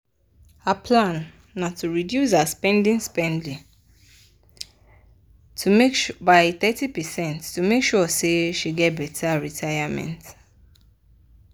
her plan na to reduce her spendi-spendi by thirty percent to make sure say she get better retayament.